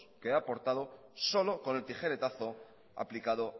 que he aportado solo con el tijeretazo aplicado